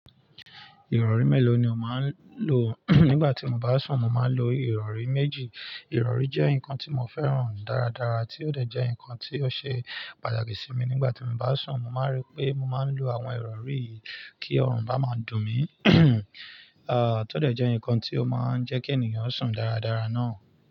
Ìrọ̀rí mélòó ni o máa ń lò nígbà tí mo bá sùn? Mo máa ń lo ìrọ̀rí méjì. Ìrọ̀rí jẹ́ nǹkan tí mo fẹ́ràn dáradára tí ó dẹ̀ jẹ́ nǹkan tí ó ṣe pàtàkì sí mi nígbà tí mo bá sùn. Mo máa rí pé mo máa ń lo àwọn ìrọ̀rí yìí kí ọrùn bá máa dùn mí. À, tó dẹ̀ jẹ́ nǹkan tí ó máa ń jẹ́ kí ènìyàn sùn dáradára náà.